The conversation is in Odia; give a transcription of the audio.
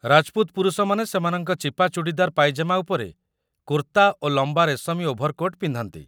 ରାଜପୁତ ପୁରୁଷମାନେ ସେମାନଙ୍କ ଚିପା ଚୁଡ଼ିଦାର ପାଇଜାମା ଉପରେ କୁର୍ତ୍ତା ଓ ଲମ୍ବା ରେଶମୀ ଓଭର୍ କୋଟ୍ ପିନ୍ଧନ୍ତି